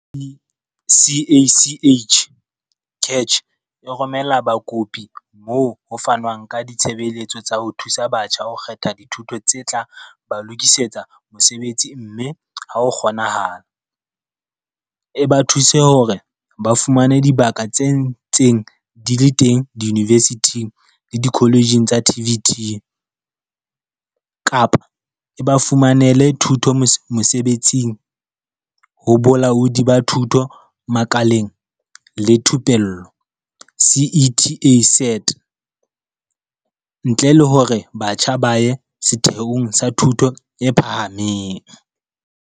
CACH e romela bakopi moo ho fanwang ka ditshebeletso tsa ho thusa batjha ho kgetha dithuto tse tla ba lokisetsa mosebetsi mme ha ho kgonahala, e ba thuse hore ba fumane dibaka tse ntseng di le teng diyunivesithing le dikoletjheng tsa TVET, kapa e ba fumanele thuto mosebetsing ho Bolaodi ba Thuto Makaleng le Thupello, SETA, ntle le hore batjha ba ye setheong sa thuto e phahameng.